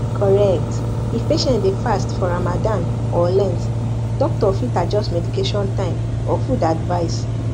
correct if patient dey fast for ramadan or lent doctor fit adjust medication time or food advice